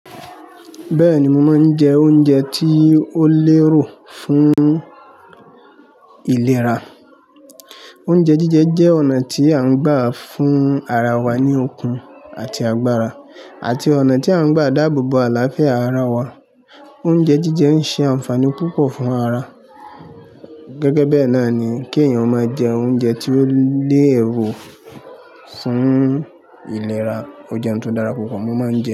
Bẹ́ẹ̀ni, mo máa ń jẹ oúnjẹ tí ó lérò fún ìlera. Oúnjẹ jíjẹ jẹ́ ọ̀nà tí à ń gbà fún ara wa ní okun àti agbára, àti ọ̀nà tí à ń gbà dáàbò bo àlàáfíà ara wa. Oúnjẹ jíjẹ ń ṣe ànfàní púpọ̀ fún ara. Gẹ́gẹ́ bẹ́ẹ̀ náà ni kí èèyàn máa jẹ oúnjẹ tí ó lẹ́rò fún ìlera, o jẹ òun tó dára púpọ̀ mo máa ń jẹ.